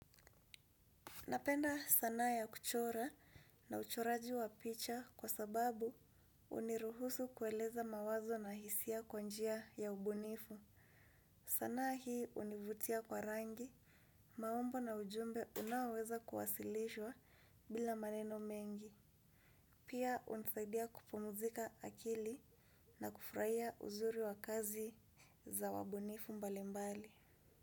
Napenda sanaa ya kuchora na uchoraji wa picha kwa sababu huniruhusu kueleza mawazo na hisia kwa njia ya ubunifu. Sanaa hii univutia kwa rangi. Maumbo na ujumbe unaoweza kuwasilishwa bila maneno mengi. Pia hunisaidia kupumzika akili na kufurahia uzuri wa kazi za wabunifu mbali mbali.